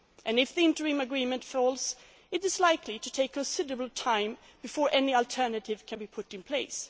If the interim agreement falls, it is likely to take considerable time before any alternative can be put in place.